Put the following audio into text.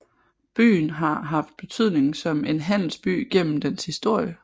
Byen har haft betydning som en handelsby gennem dens historie